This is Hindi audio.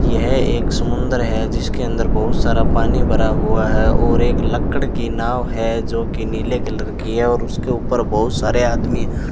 यह एक समुद्र है जिसके अंदर बहुत सारा पानी भरा हुआ है और एक लकड़ी की नाव है जो की नीले कलर की है और उसके ऊपर बहुत सारे आदमी --